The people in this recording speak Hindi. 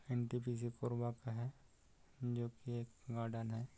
N. T. P. C. Korba पे है जोकि एक गार्डन है।